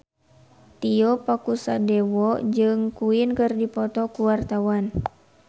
Tio Pakusadewo jeung Queen keur dipoto ku wartawan